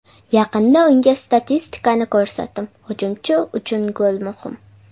Yaqinda unga statistikani ko‘rsatdim, hujumchi uchun gol muhim.